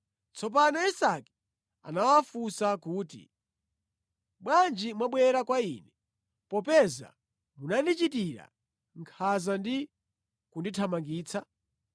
Tsopano Isake anawafunsa kuti, “Bwanji mwabwera kwa ine, popeza munandichitira nkhanza ndi kundithamangitsa?”